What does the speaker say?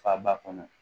Faba kɔnɔ